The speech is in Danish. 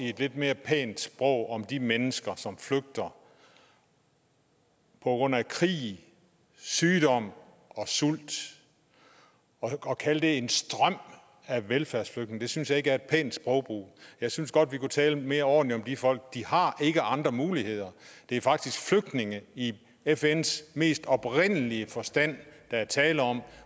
et lidt mere pænt sprog om de mennesker som flygter på grund af krig sygdom og sult at kalde det en strøm af velfærdsflygtninge synes jeg ikke er et pænt sprogbrug jeg synes godt vi kunne tale mere ordentligt om de folk de har ikke andre muligheder det er faktisk flygtninge i fns mest oprindelige forstand der er tale om